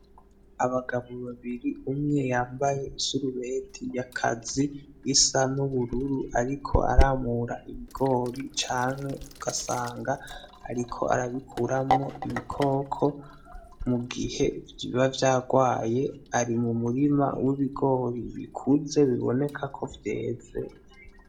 Abagabo babiri umwe yambaye isarubeti y’akazi isa n’ubururu ariko aramura ibigori canke ugasanga ariko arabikuramwo ibikoko mu gihe biba vyagwaye , ari mu murima w’ibigori bikuze biboneka ko vyeze.